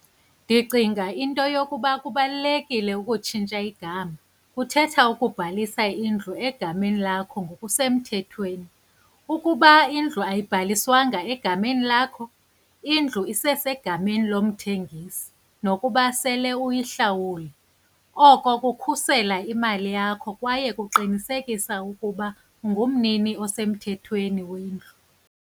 Ndicinga into yokuba kubalulekile ukutshintsha igama, kuthetha ukubhalisa indlu egameni lakho ngokusemthethweni. Ukuba indlu ayibhaliswanga egameni lakho, indlu isesegameni lomthengisi nokuba sele uyihlawule. Oko kukhusela imali yakho kwaye kuqinisekisa ukuba ungumnini osemthethweni wendlu.